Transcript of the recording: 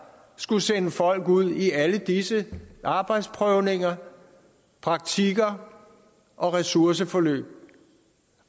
skulle sende folk ud i alle disse arbejdsprøvninger praktikker ressourceforløb